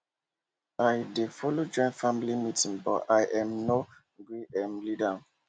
i dey follow join family meeting but i um nor gree um lead am